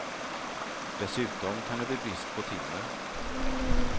Dessutom kan det bli brist på timmer.